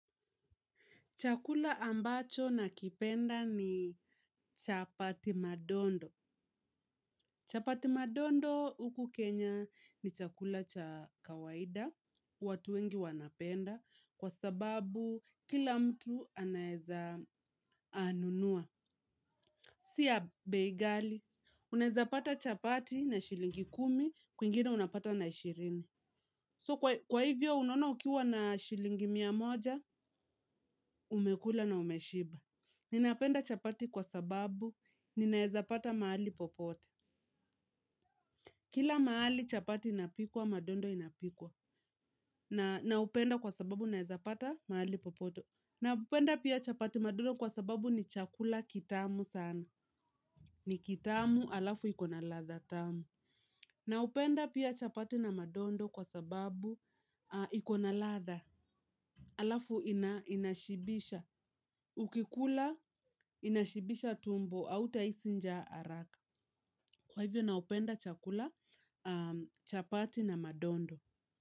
Chakula ambacho nakipenda ni chapati madondo. Chapati madondo huku Kenya ni chakula cha kawaida. Watu wengi wanapenda kwa sababu kila mtu anaweza nunua, si ya bei ghali. Unaweza pata chapati na shilingi kumi, kwingine unapata na ishirini. So kwa hivyo unaona ukiwa na shilingi mia moja, umekula na umeshiba. Ninapenda chapati kwa sababu ninaweza pata mahali popote. Kila mahali chapati inapikwa madondo inapikwa. Naupenda kwa sababu naweza pata mahali popote. Napenda pia chapati madondo kwa sababu ni chakula kitamu sana. Ni kitamu halafu iko na ladha tamu naupenda pia chapati na madondo kwa sababu iko na ladha halafu inashibisha, ukikula inashibisha tumbo hautahisi njaa haraka. Kwa hivyo naupenda chakula chapati na madondo.